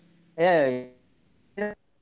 ಹಾ .